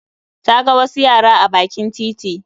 Ta ga wasu yara a bakin titi